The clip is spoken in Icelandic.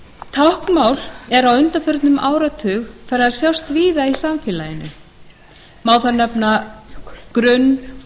táknmál er á undanförnum áratug farið að sjást víða í samfélaginu má þar nefna grunn